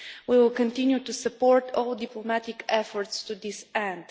We will continue to support all diplomatic efforts to this end.